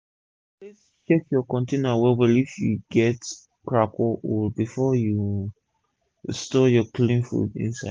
always check ur container well well if e get crack or hole before u store ur clean food inside